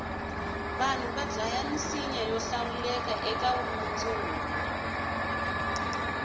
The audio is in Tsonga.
vanhu vadlaya misinya yohlawuleka ekavumundzuku